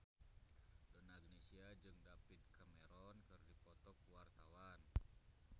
Donna Agnesia jeung David Cameron keur dipoto ku wartawan